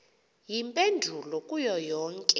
iimpendulo kuyo yonke